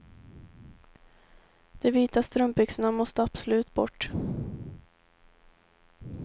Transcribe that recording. De vita strumpbyxorna måste absolut bort.